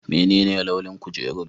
Menene launin kujerun?